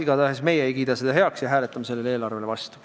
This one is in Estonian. Igatahes meie ei kiida seda heaks ja hääletame selle eelarve vastu.